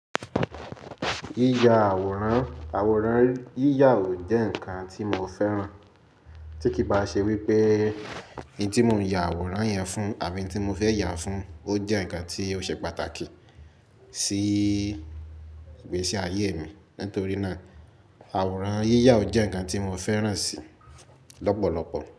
Yíyà àwòrán, àwòrán yíyà ò jẹ́ ǹkan tí mo fẹ́ràn. Tí kì bá ṣe wípé ǹ ti mo ń yà àwòrán yẹn fún àbí n ti mo fẹ́ yà á fún ó jẹ́ ǹkan tí ó ṣe pàtàkì sí ìgbésí ayé mi. Nítorí náà àwòrán yíyà ò jẹ́ ǹkan tí mo fẹ́ràn sì lọ́pọ̀lọpọ̀.